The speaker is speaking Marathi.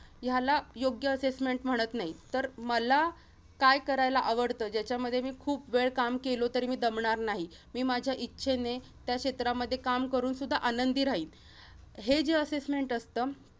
ह्याला योग्य assessment म्हणत नाहीत. तर मला काय करायला आवडतं? ज्याच्यामध्ये मी खूप वेळ काम केलो तरी मी दमणार नाही. मी माझ्या इच्छेने त्या क्षेत्रामध्ये काम करून सुद्धा आनंदी राहीन. हे जे assessment असतं